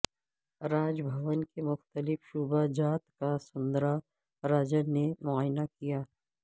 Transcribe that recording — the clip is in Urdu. راج بھون کے مختلف شعبہ جات کا سوندرا راجن نے معائنہ کیا